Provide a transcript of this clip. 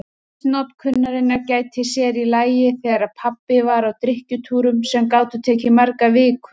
Misnotkunarinnar gætti sér í lagi þegar pabbi var á drykkjutúrum sem gátu tekið margar vikur.